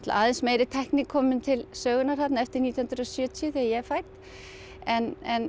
aðeins meiri tækni komin til sögunnar þarna eftir nítján hundruð og sjötíu þegar ég er fædd en en